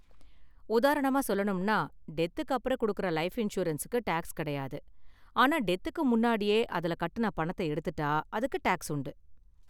உதாரணமா சொல்லணும்னா, டெத்துக்கு அப்பறம் கொடுக்கற லைஃப் இன்சூரன்ஸுக்கு டேக்ஸ் கிடையாது, ஆனா டெத்துக்கு முன்னாடியே அதுல கட்டுன பணத்த எடுத்துட்டா அதுக்கு டேக்ஸ் உண்டு.